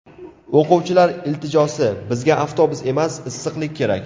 O‘quvchilar iltijosi: Bizga avtobus emas, issiqlik kerak.